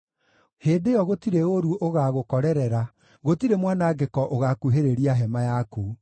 hĩndĩ ĩyo gũtirĩ ũũru ũgaagũkorerera, gũtirĩ mwanangĩko ũgaakuhĩrĩria hema yaku.